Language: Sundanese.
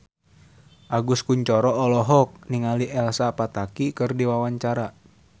Agus Kuncoro olohok ningali Elsa Pataky keur diwawancara